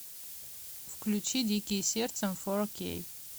включи дикие сердцем фор кей